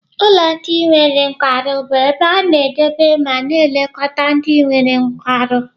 Ụlọ ndị nwere nkwarụ bụ ebe a na-edobe ma na-elekọta ndị nwere nkwarụ.